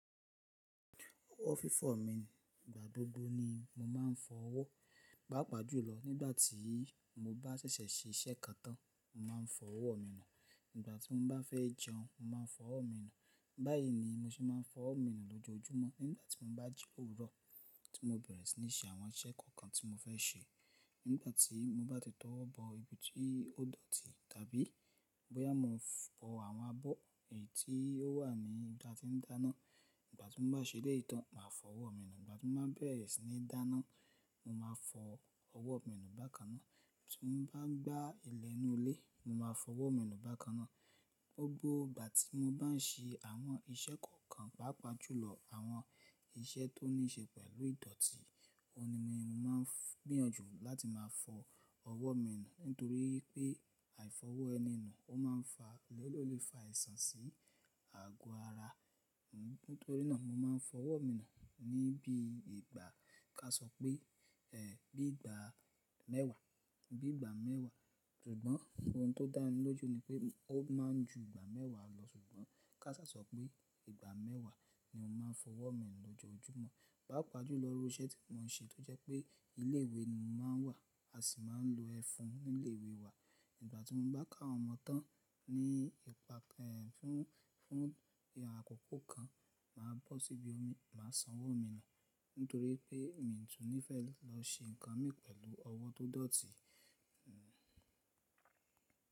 Owó fífọ̀ mi, ìgbà gbogbo ni mo máa ń fọ owó. Pápa jùlọ nígbàtí mo bá ṣẹ̀ṣẹ̀ ṣe iṣẹ́ kan tán, mo máa ń fọ owó mi nù. Nígbàtí mo bá fẹ́ jẹun, mo máa ń fọ owó mi nù. Báyìí ni mo ṣe máa ń fọ owó mi nù lójoójúmọ́. Nígbàtí mo bá jí ní òwúró tí mo bẹ̀rẹ̀ sí ní ṣe àwọn iṣẹ́ kọ̀ọ̀kan tí mo fẹ́ ṣe. Nígbàtí mo bá ti owọ́bọ ibi tí ó dọ̀tí tàbí bóyá mo fọ àwọn abọ́ èyí tí ó wà ní ibi tí ń dáná. Nígbàtí mo bá ṣẹlẹ́ ìtàn, màá fọ owó mi nù. Nígbàtí mo bá bẹ̀rẹ̀ sí ní dáná, mo máa fọ owó mi nù bákan náà. Tí mo bá gba ìlẹ́ inú ilé, mo máa fọ owó mi nù bákan náà. Gbogbo ìgbà tí mo bá ń ṣe àwọn iṣẹ́ kọ̀ọ̀kan, pàápàá jùlọ àwọn iṣẹ́ tó ní ṣe pẹ̀lú ìdọ̀tí, òun ni mo máa ń gbìyànjú láti máa fọ owó mi nù. Nítorí pé àìfọwọ́ ẹni nù ó máa ń fa, lólè fa àìsàn sí àgọ́ ara. Nítorí náà mo máa ń fọ owó mi nù ní bí ìgbà ká sọ pé, ẹ́ bí ìgbà mẹ́wàá, bí ìgbà mẹ́wàá. Ṣùgbọ́n ohun tó dáń lójoò ní pé ó máa ń ju ìgbà mẹ́wàá lọ, ṣùgbọ́n ká sá sọ pé ìgbà mẹ́wàá ni mo máa fọ owó mi nù lójoójúmọ́. Pápa jùlọ irú iṣẹ́ tí mò ń ṣe tó jẹ́ pé ilé ìwé ni mo máa ń wà a sì máa ń lo ẹfun nílé ìwé wa. Nígbàtí mo bá kó àwọn ọmọ tán ní ìpàkán, fún, fún ìràn àkọ́kọ́ kan, màá bọ́ síbí, màá san owó mi nù. Nítorí pé mi tún níìfẹ̀ lọ ṣe nǹkan mi pẹ̀lú owó tó dọ̀tí. Hmmm.